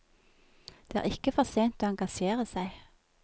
Det er ikke for sent å engasjere seg.